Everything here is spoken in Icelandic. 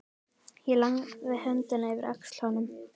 Ég lagði höndina yfir öxl honum.